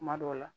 Kuma dɔw la